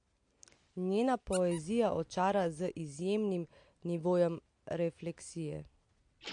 Njena poezija očara z izjemnim nivojem refleksije.